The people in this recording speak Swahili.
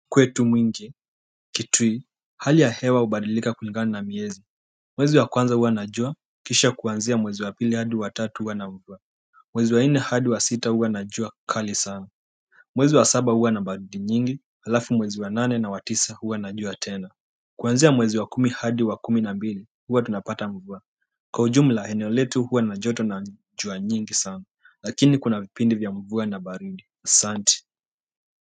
Kwetu mwingi, kitui, hali ya hewa hubadilika kulingana na miezi mwezi wa kwanza huwa na jua, kisha kuanzia mwezi wa pili hadi wa tatu huwa na mvua mwezi wa nne hadi wa sita huwa na jua kali sana mwezi wa saba huwa na baridi nyingi, halafu mwezi wa nane na wa tisa huwa na jua tena. Kuanzia mwezi wa kumi hadi wa kumi na mbili huwa tunapata mvua. Kwa ujumla eneo letu huwa na joto na jua nyingi sana lakini kuna vipindi vya mvua na baridi. Asante.